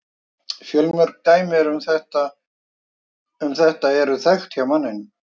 Fjölmörg dæmi um þetta eru þekkt hjá manninum.